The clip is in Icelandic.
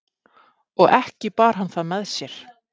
Og ekki bar hann það með sér.